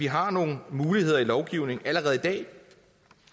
har nogle muligheder i lovgivningen